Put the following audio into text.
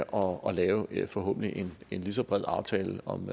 og lave en forhåbentlig lige så bred aftale om